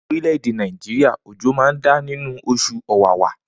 Ni orileede Naijiria ojo ma n da ninu osùn ọwawa.